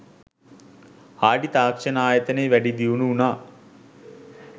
Hardy තාක්ෂණ ආයතනය වැඩි දියුණු වුණා.